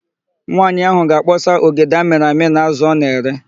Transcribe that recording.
Nwaanyị áhụ̀ ga-akpọsa ogede amịrị amị na ázụ̀ ọ na-ere.